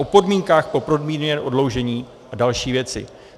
O podmínkách pro podmíněné prodloužení a další věci.